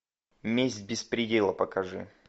месть без предела покажи